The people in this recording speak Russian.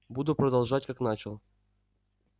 буду продолжать как начал